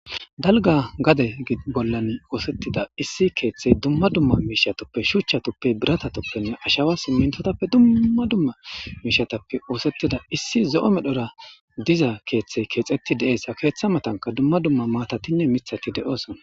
Dalgga gadde Bollani oosetida issi kethey Duma duma mishatas Shuchatupe Birata tupene Ashawa simintotape duma duma mishatape osseti issi zo'o medhon Diza kethey kexeti Ketha matanka duma Duma matati Mithati de'esona